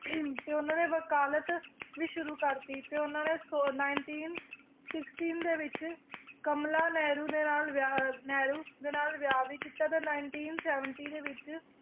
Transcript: ਤੇ ਉਹਨਾਂ ਨੇ ਵਕਾਲਤ ਵੀ ਸ਼ੁਰੂ ਕਰਤੀ ਤੇ ਉਹਨਾਂ ਨੇ ਸੌ nineteen sixteen ਦੇ ਵਿੱਚ ਕਮਲਾ ਨਹਿਰੂ ਦੇ ਵਿਆਹ ਨਹਿਰੂ ਦੇ ਨਾਲ ਵਿਆਹ ਵੀ ਕੀਤਾ ਤੇ nineteen seventy ਦੇ ਵਿੱਚ